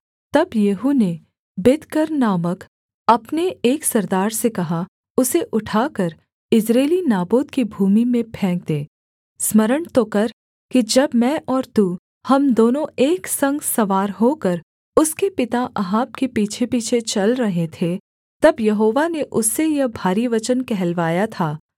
तब येहू ने बिदकर नामक अपने एक सरदार से कहा उसे उठाकर यिज्रेली नाबोत की भूमि में फेंक दे स्मरण तो कर कि जब मैं और तू हम दोनों एक संग सवार होकर उसके पिता अहाब के पीछेपीछे चल रहे थे तब यहोवा ने उससे यह भारी वचन कहलवाया था